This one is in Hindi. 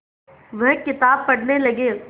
वह किताब पढ़ने लगे